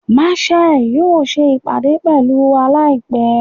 Marshal yoo ṣe ipade pẹlu wa laipẹ